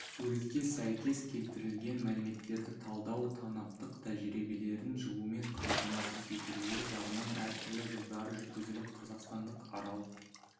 суретке сәйкес келтірілген мәліметтерді талдау танаптық тәжірибелердің жылумен қамтамасыз етілуі жағынан әртүрлі жылдары жүргізіліп қазақстандық арал